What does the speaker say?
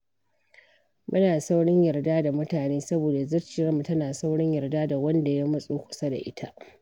Muna saurin yarda da mutane, saboda zuciyarmu tana saurin yarda da wanda ya matso kusa da ita.